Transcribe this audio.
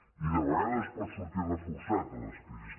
i de vegades es pot sortir reforçat de les crisis